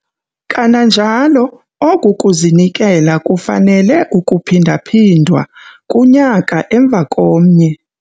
Kananjalo oku kuzinikela kufanele ukuphinda-phindwa kunyaka emva komnye.